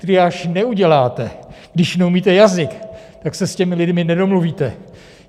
Triáž neuděláte, když neumíte jazyk, tak se s těmi lidmi nedomluvíte.